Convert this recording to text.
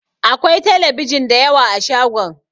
Akwai telebijin dayawa a shagon